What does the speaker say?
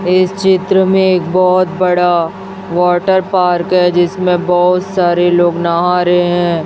इस चित्र में एक बहोत बड़ा वाटर पार्क है जिसमें बहोत सारे लोग नहा रहे हैं।